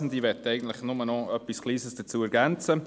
Ich möchte nur noch etwas Kleines ergänzen.